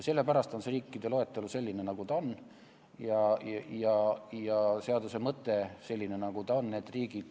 Sellepärast on see riikide loetelu selline, nagu ta on, ja seaduse mõte selline, nagu ta on.